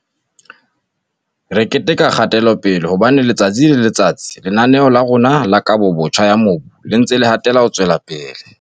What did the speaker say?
"Re keteka kgatelopele, hobane letsatsi le letsatsi Lena-neo la rona la Kabobotjha ya Mobu le ntse le hatela pele."